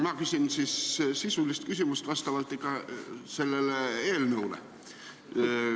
Ma küsin siis sellele eelnõule vastava sisulise küsimuse.